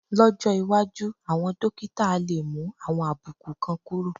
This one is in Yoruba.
Lọ́jọ́ iwájú, àwọn dókítà á lè mú àwọn àbùkù kan kúrò